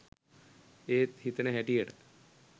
එත් හිතෙන හැටියට